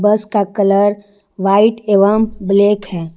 बस का colour white एवं ब्लैक है।